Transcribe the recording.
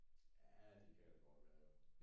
Jae det kan det godt være jo